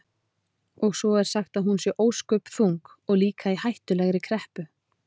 Og svo er sagt að hún sé svo ósköp þung og líka í hættulegri kreppu.